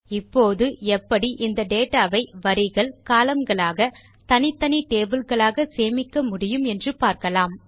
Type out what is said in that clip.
இப்போது எப்படி நாம் இந்த டேட்டா வை வரிகள் கோலம்ன் களாக தனித்தனி டேபிள் களாக சேமிக்க முடியும் என்று பார்க்கலாம்